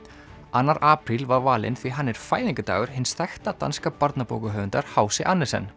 annar apríl var valinn því hann er fæðingardagur hins þekkta danska barnabókahöfundar h c Andersen